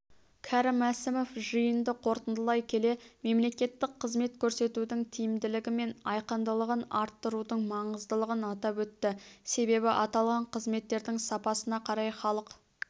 кәрім мәсімов жиынды қорытындылай келе мемлекеттік қызмет көрсетудің тиімділігі мен айқындылығын арттырудың маңыздылығын атап өтті себебі аталған қызметтердің сапасына қарай халық